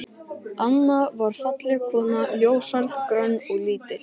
Anna var falleg kona, ljóshærð, grönn og lítil.